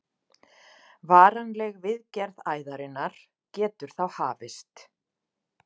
Varanleg viðgerð æðarinnar getur þá hafist.